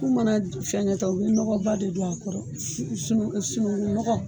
Ku mana fɛnkɛ tan u bɛ nɔgɔ ba de don a kɔrɔ sunu sunu sununku nɔgɔ.